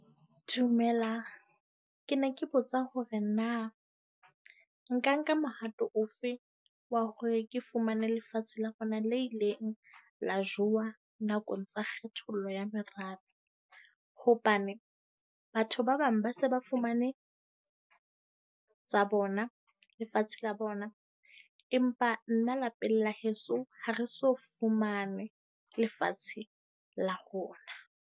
Dumelang. Ke ne ke botsa hore na nka nka mehato ofe wa hore ke fumane lefatshe la rona le ileng la jowa nakong tsa kgethollo ya morabe? Hobane batho ba bang ba se ba fumane tsa bona, lefatshe la bona, empa nna lapeng heso ha re so fumane lefatshe la rona.